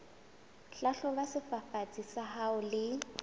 hlahloba sefafatsi sa hao le